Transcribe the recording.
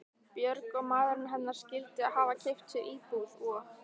Björg og maðurinn hennar skyldu hafa keypt sér íbúð og